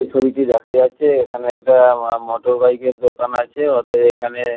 এই ছবিটি দেখা যাচ্ছে এখানে একটা মোটর বাইক -এর দোকান আছে। আ অতএব এখানে--